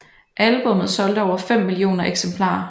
Albummet solgte over 5 millioner eksemplarer